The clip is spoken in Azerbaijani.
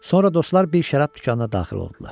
Sonra dostlar bir şərab dükanına daxil oldular.